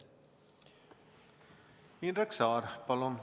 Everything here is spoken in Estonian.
Indrek Saar, palun!